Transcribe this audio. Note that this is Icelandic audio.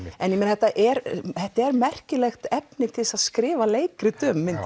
en þetta er þetta er merkilegt efni til þess að skrifa leikrit um